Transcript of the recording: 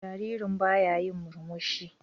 Jaririn baya yin murmushi.